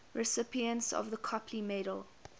recipients of the copley medal